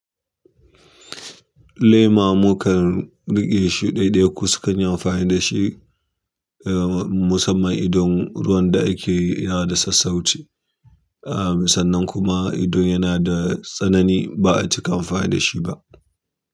Lema mu kan riƙe shi ɗaiɗaiku sukan yi amfani da shi. Musamman idon ruwan da ake yi yana da sassauci. Sannan kuma idon yana da tsanani ba a cika amfani da shi ba.